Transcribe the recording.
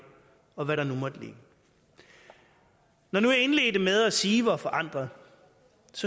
og hvad der nu måtte ligge når nu jeg indledte med at sige hvor forandret